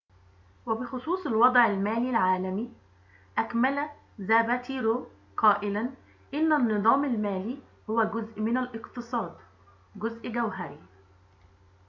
وبخصوص الوضع المالي العالمي أكمل زاباتيرو قائلاً إن النظام المالي هو جزء من الاقتصاد جزء جوهري